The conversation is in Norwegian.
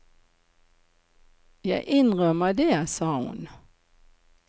Jeg innrømmer det, sa hun.